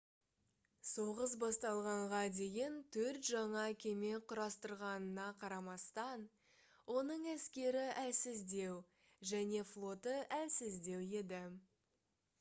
соғыс басталғанға дейін төрт жаңа кеме құрастырғанына қарамастан оның әскері әлсіздеу және флоты әлсіздеу еді